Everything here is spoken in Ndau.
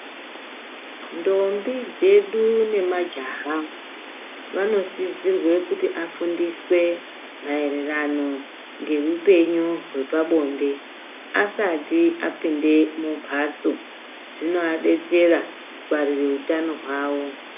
Ndombi dzedu nemajaha vanosizirwe kuti afundiswe maererano ngeupenyu hwepa bonde asati apinde mumhatso zvinoadetsera kungwarire utano hwawo.